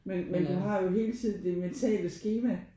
Men men du har jo hele tiden det mentale skema